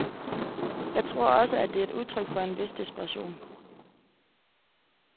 Jeg tror også, at det er et udtryk for en vis desperation.